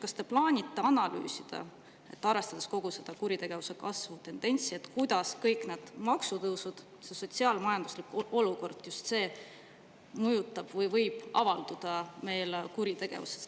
Kas te plaanite analüüsida, arvestades kogu seda kuritegevuse kasvu tendentsi, kuidas kõik need maksutõusud ja sotsiaal-majanduslik olukord mõjutavad kuritegevust või võivad selles avalduda?